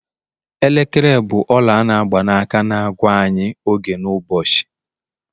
elekere bụ ọla a n'agba na- aka na-agwa anyị oge n'ụbọchị